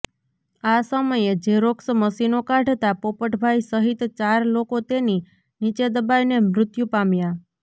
આ સમયે ઝેરોક્સ મશીનો કાઢતા પોપટભાઈ સહીત ચાર લોકો તેની નીચે દબાઈને મૃત્યુ પામ્યાં